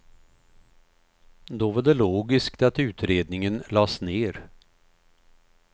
Då var det logiskt att utredningen lades ner.